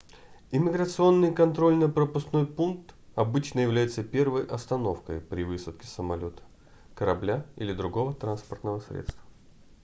иммиграционный контрольно-пропускной пункт обычно является первой остановкой при высадке с самолёта корабля или другого транспортного средства